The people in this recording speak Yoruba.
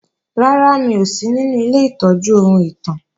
Rárá, mi ò sí ninu ilé ìtọ́jú ohun ìtàn